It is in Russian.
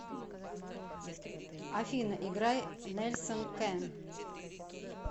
афина играй нельсон кэн